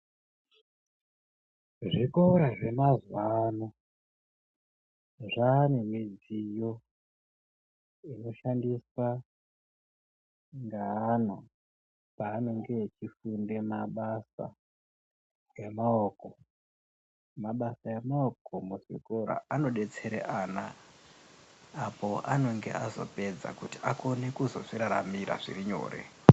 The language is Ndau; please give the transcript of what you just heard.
Zvikora zvemazuva ano zvaane midziyo inoshandiswa ngeana paanenge achifunde mabasa emaoko. Mabasa emaoko kuchikora anodetsere ana apo anonge azopedza kuti akone kuzozviraramira zviri nyore.